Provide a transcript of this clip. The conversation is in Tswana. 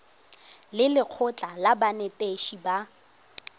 le lekgotlha la banetetshi ba